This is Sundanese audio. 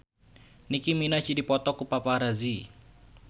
Nicky Minaj dipoto ku paparazi